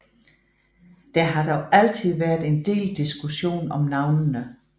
Der har dog altid været en del diskussion om navnene